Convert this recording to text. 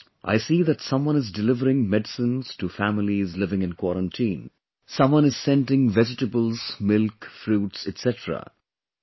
These days, I see that someone is delivering medicines to families living in quarantine, someone is sending vegetables, milk, fruits etc